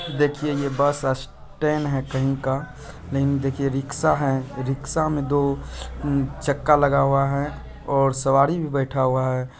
देखिये ये bus stand है कही का नही देखिये रिक्शा है रिक्शा में दो चक्का लगा हुआ है और सवारी भी बैठा हुआ है।